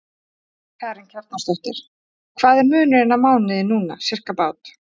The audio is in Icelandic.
Karen Kjartansdóttir: Hvað er munurinn á mánuði núna, sirkabát?